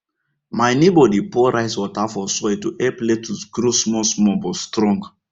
my neighbour dey pour rice water for soil to help lettuce grow small small but strong